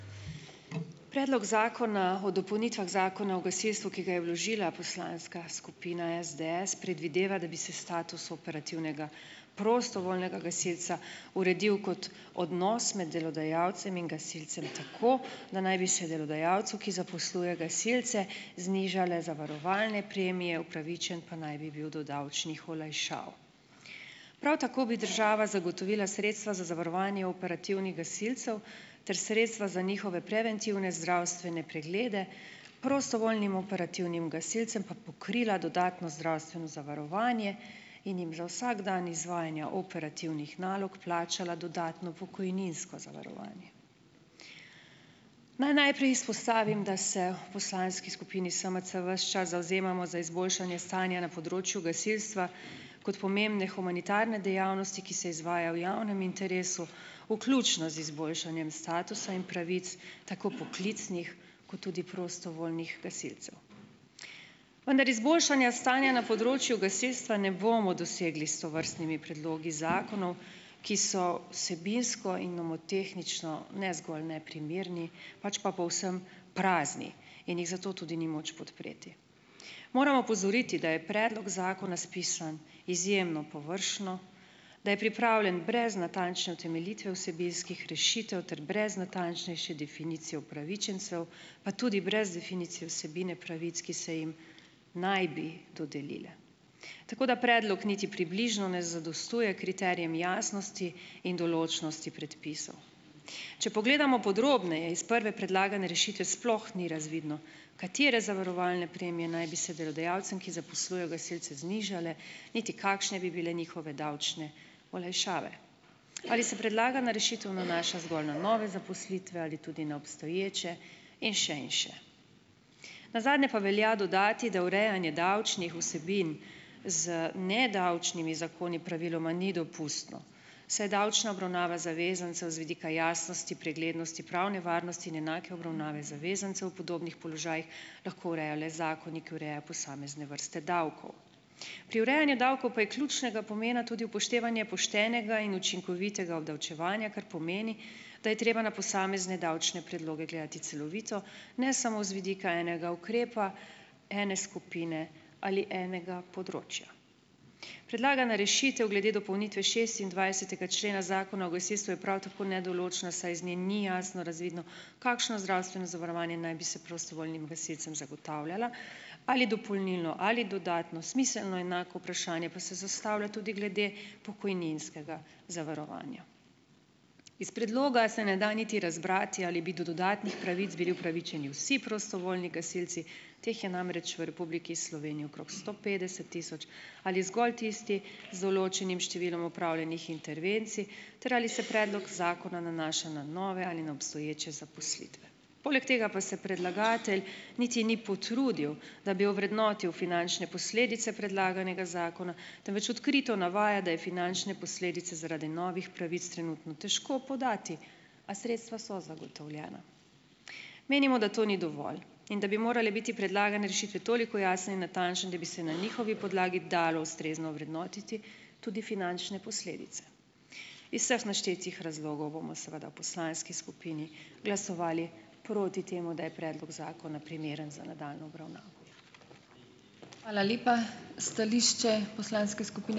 Predlog zakona o dopolnitvah Zakona o gasilstvu, ki ga je vložila poslanska skupina SDS, predvideva, da bi se status operativnega prostovoljnega gasilca uredil kot odnos med delodajalcem in gasilcem tako, da naj bi se delodajalcu, ki zaposluje gasilce znižale zavarovalne premije, upravičen pa naj bi bil do davčnih olajšav. Prav tako bi država zagotovila sredstva za zavarovanje operativnih gasilcev ter sredstva za njihove preventivne zdravstvene preglede, prostovoljnim operativnim gasilcem pa pokrila dodatno zdravstveno zavarovanje in jim za vsak dan izvajanja operativnih nalog plačala dodatno pokojninsko zavarovanje. Naj najprej izpostavim, da se v poslanski skupini SMC ves čas zavzemamo za izboljšanje stanja na področju gasilstva kot pomembne humanitarne dejavnosti, ki se izvaja v javnem interesu, vključno z izboljšanjem statusa in pravic, tako poklicnih kot tudi prostovoljnih gasilcev. Vendar izboljšanja stanja na področju gasilstva ne bomo dosegli s tovrstnimi predlogi zakonov, ki so vsebinsko in nomotehnično ne zgolj neprimerni, pač pa povsem prazni in jih zato tudi ni moč podpreti. Moram opozoriti, da je predlog zakona spisan izjemno površno, da je pripravljen brez natančne utemeljitve vsebinskih rešitev ter brez natančnejše definicije upravičencev, pa tudi brez definicije vsebine pravic, ki se jim naj bi dodelile. Tako da predlog niti približno ne zadostuje kriterijem jasnosti in določnosti predpisov. Če pogledamo podrobneje, iz prve predlagane rešitve sploh ni razvidno, katere zavarovalne premije naj bi se delodajalcem, ki zaposlujejo gasilce, znižale, niti kakšne bi bile njihove davčne olajšave. Ali se predlagana rešitev nanaša zgolj na nove zaposlitve ali tudi na obstoječe in še in še. Nazadnje pa velja dodati, da urejanje davčnih vsebin z nedavčnimi zakoni praviloma ni dopustno, saj davčna obravnava zavezancev z vidika jasnosti, preglednosti, pravne varnosti in enake obravnave zavezancev v podobnih položajih lahko le zakoni, ki posamezne vrste davkov. Pri urejanju davkov pa je ključnega pomena tudi upoštevanje poštenega in učinkovitega obdavčevanja, kar pomeni, da je treba na posamezne davčne predloge gledati celovito, ne samo z vidika enega ukrepa ene skupine ali enega področja. Predlagana rešitev glede dopolnitve šestindvajsetega člena Zakona o gasilstvu je prav tako nedoločna, saj iz nje ni jasno razvidno, kakšno zdravstveno zavarovanje naj bi se prostovoljnim gasilcem zagotavljalo, ali dopolnilno ali dodatno. Smiselno enako vprašanje pa se zastavlja tudi glede pokojninskega zavarovanja. Iz predloga se ne da niti razbrati, ali bi do dodatnih pravic bili upravičeni vsi prostovoljni gasilci, teh je namreč v Republiki Sloveniji okoli sto petdeset tisoč, ali zgolj tisti z določenim številom opravljenih intervencij ter ali se predlog zakona nanaša na nove ali na obstoječe zaposlitve. Poleg tega pa se predlagatelj niti ni potrudil, da bi ovrednotil finančne posledice predlaganega zakona, temveč odkrito navaja, da je finančne posledice zaradi novih pravic trenutno težko podati, a sredstva so zagotovljena. Menimo, da to ni dovolj in da bi morale biti predlagane rešitve toliko jasne in natančne, da bi se na njihovi podlagi dalo ustrezno ovrednotiti tudi finančne posledice. Iz vseh naštetih razlogov bomo seveda v poslanski skupini glasovali proti temu, da je predlog zakona primeren za nadaljnjo obravnavo.